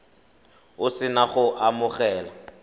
o se na go amogela